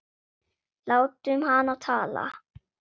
Látum hana tala.